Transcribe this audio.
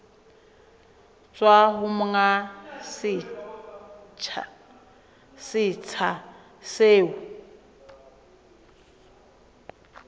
tswa ho monga setsha seo